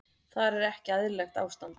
Þar er ekki eðlilegt ástand.